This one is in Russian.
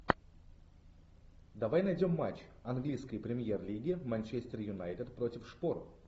давай найдем матч английской премьер лиги манчестер юнайтед против шпор